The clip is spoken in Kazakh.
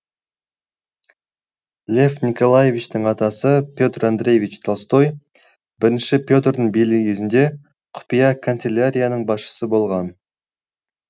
лев николаевичтің атасы петр андреевич толстой бірінші петрдің билігі кезінде құпия канцелярияның басшысы болған